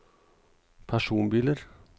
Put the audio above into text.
personbiler